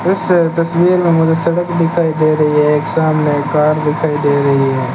तस्वीर में मुझे सड़क दिखाई दे रही है। एक सामने कार दिखाई दे रही है।